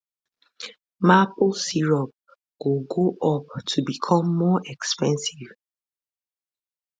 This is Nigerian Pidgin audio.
maple syrup go go up to become more expensive